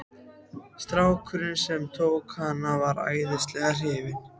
Strákurinn sem tók hana var æðislega hrifinn.